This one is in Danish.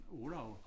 Olav